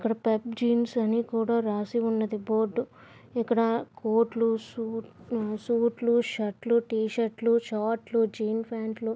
ఇక్కడ Pep jeans అని రాసి ఉన్నది బోర్డు . ఇక్కడ షూట్ లు షర్ట్లు లు టి షర్ట్ లు షార్ట్ లు జీన్ ప్యాంట్ లు --